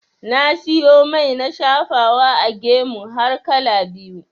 Na siyo mai na shafawa a gemu har kala biyu.